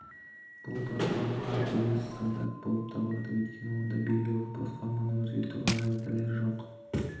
бұл платформалы тәуелсіз стандарт болып табылады өйткені онда белгілі платформаны өзгертуші параметрлері жоқ